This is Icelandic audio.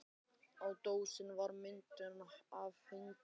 Á dósinni var mynd af hundi.